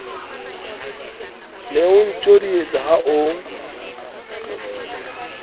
ne o ntjodietsa ha o